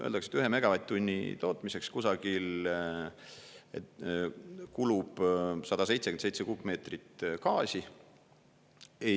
Öeldakse, et 1 megavatt-tunni tootmiseks kusagil kulub 177 kuupmeetrit gaasi.